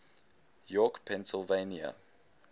york pennsylvania